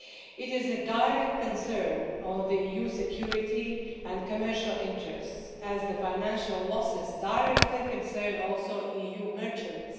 It is a direct concern of EU security and commercial interests, as the financial losses directly concern also EU merchants.